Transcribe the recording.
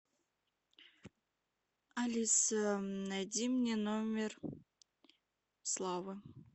алиса найди мне номер славы